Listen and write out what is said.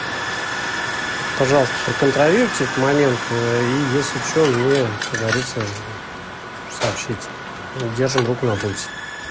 пожалуйста проконтролируйте этот момент если что мне как говорится сообщите держим руку на пульсе